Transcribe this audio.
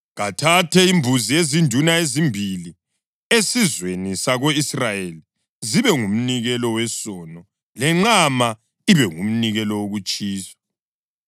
Kathathe imbuzi ezinduna ezimbili esizweni sako-Israyeli zibe ngumnikelo wesono, lenqama ibe ngumnikelo wokutshiswa.